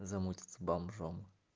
замутит с бомжом